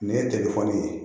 Nin ye ye